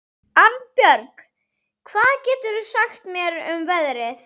Arnbjörg, hvað geturðu sagt mér um veðrið?